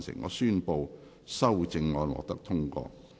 我宣布修正案獲得通過。